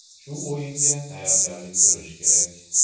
Shu o‘yinga tayyorgarlik ko‘rish kerak.